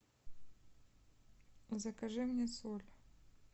закажи мне соль